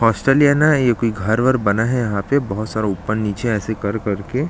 hostel ही है न ये कोई घर वर बना है यहाँ पे बहुत सारे सारा ऊपर निचे ऐसे कर कर के--